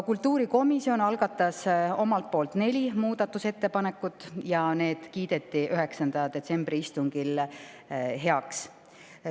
Kultuurikomisjon algatas omalt poolt neli muudatusettepanekut ja need kiideti 9. detsembri istungil heaks.